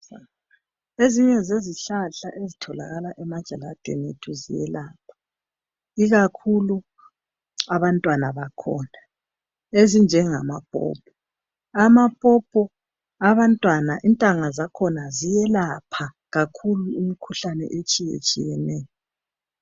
Ezinye zezihlahla ezitholakala emajaladeni ethu ziyelapha ikakhulu abantwana bakhona ezinjengama popo amapopo abantwana intanga zakhona ziyelapha kakhulu imikhuhlane etshiyeneyo.